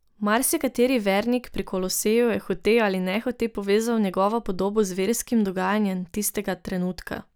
Marsikateri vernik pri Koloseju je hote ali nehote povezal njegovo podobo z verskim dogajanjem tistega trenutka.